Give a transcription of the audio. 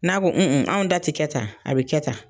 N'a ko anw da ti kɛ tan, a bi kɛ tan .